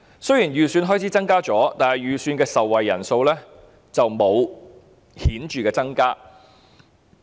雖然增加了預算開支，但預算的受惠人數並沒有顯著增加。